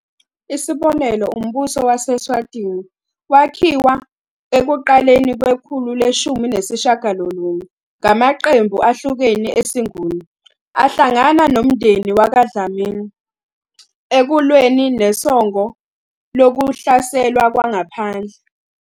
Isibonelo, umbuso wase-Eswatini wakhiwa ekuqaleni kwekhulu leshumi nesishiyagalolunye ngamaqembu ahlukene esiNguni ahlangana nomndeni wakwaDlamini ekulweni nosongo lokuhlaselwa kwangaphandle.